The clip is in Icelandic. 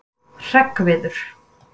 Hreggviður